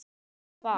Það var.